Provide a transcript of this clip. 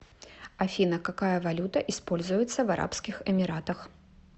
афина какая валюта используется в арабских эмиратах